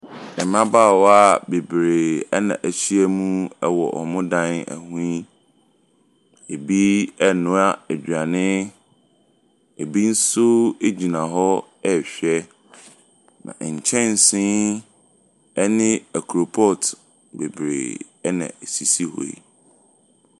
Mmabaawa bebree na ahyiam wɔ wɔn dan ho yi. Ebi renoa aduane. Ebi nso gyina hɔ rehwɛ. Nkyɛnsee ne koropɔt bebree na esisi hɔ yi.